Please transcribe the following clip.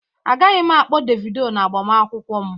Agaghị m akpọ Devido n'agbamakwụkwọ m